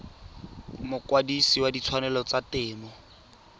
mokwadise wa ditshwanelo tsa temo